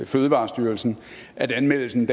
fødevarestyrelsen at anmeldelsen